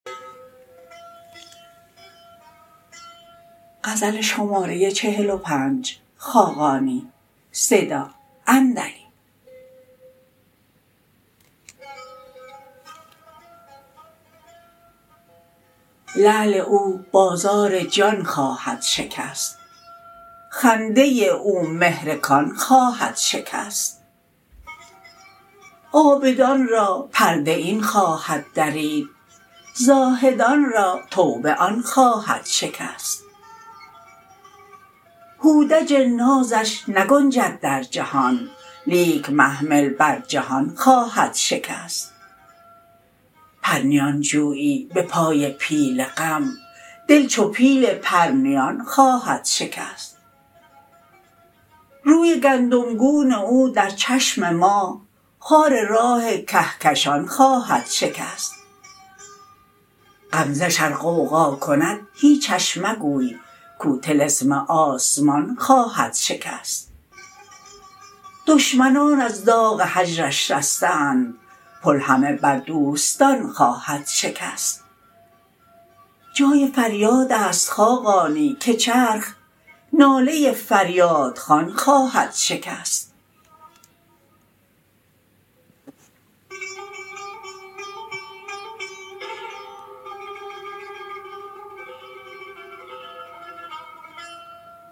لعل او بازار جان خواهد شکست خنده او مهر کان خواهد شکست عابدان را پرده این خواهد درید زاهدان را توبه آن خواهد شکست هودج نازش نگنجد در جهان لیک محمل بر جهان خواهد شکست پرنیان خویی به پای پیل غم دل چو پیل پرنیان خواهد شکست روی گندم گون او در چشم ماه خار راه کهکشان خواهد شکست غمزه ش ار غوغا کند هیچش مگوی کو طلسم آسمان خواهد شکست دشمنان از داغ هجرش رسته اند پل همه بر دوستان خواهد شکست جای فریاد است خاقانی که چرخ ناله فریاد خوان خواهد شکست